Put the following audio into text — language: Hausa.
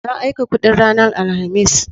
Na aika kudin ranar Alhamis.